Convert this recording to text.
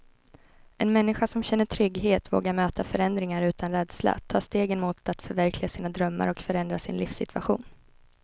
En människa som känner trygghet vågar möta förändringar utan rädsla, ta stegen mot att förverkliga sina drömmar och förändra sin livssituation.